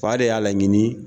Fa de y'a laɲini